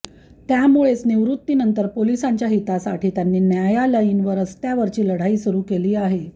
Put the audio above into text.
त्यामुळेच निवृत्तीनंतर पोलिसांच्या हितासाठी त्यांनी न्यायालयीन व रस्त्यावरची लढाई सुरू केली आहे